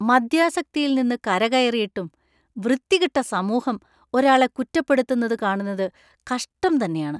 മദ്യാസക്തിയിൽ നിന്ന് കരകയറിയിട്ടും വൃത്തികെട്ട സമൂഹം ഒരാളെ കുറ്റപ്പെടുത്തുന്നത് കാണുന്നത് കഷ്ടം തന്നെയാണ്.